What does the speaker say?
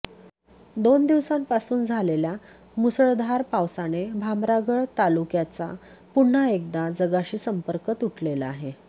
दोन दिवसांपासून झालेल्या मुसळधार पावसाने भामरागड तालुक्याचा पुन्हा एकदा जगाशी संपर्क तुटलेला आहे